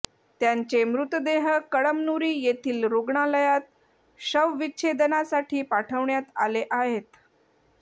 त्यांचे मृतदेह कळमनुरी येथील रुग्णालयात शवविच्छेदनासाठी पाठविण्यात आले आहेत